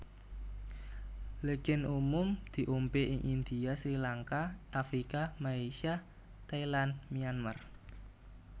Legen umum diombe ing India Srilanka Afrika Malaysia Thailand Myanmar